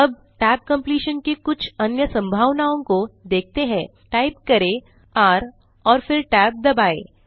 अब tab completion की कुछ अन्य संभावनाओं को देखते हैं टाइप करें र और फिर tab दबाएँ